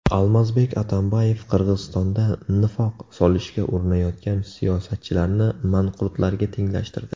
Almazbek Atambayev Qirg‘izistonda nifoq solishga urinayotgan siyosatchilarni manqurtlarga tenglashtirdi.